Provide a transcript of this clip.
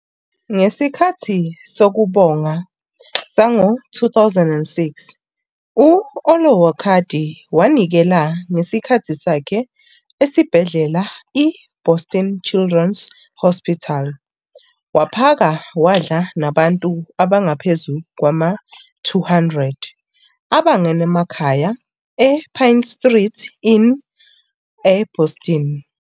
Ngesikhathi Sokubonga sango-2006, u-Olowokandi wanikela ngesikhathi sakhe esibhedlela i- Boston Children's Hospital waphaka wadla nabantu abangaphezu kwama-200 abangenamakhaya ePine Street Inn eBoston.